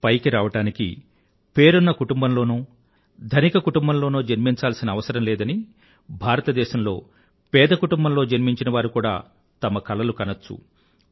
పైకి రావడానికి పేరున్న కుటుంబంలోనో గానీ ధనిక కుటుంబంలోనో జన్మించాల్సిన అవసరం లేదని భారత దేశంలో పేద కుటుంబంలో జన్మించిన వారు కూడా తమ కలలను కనచ్చు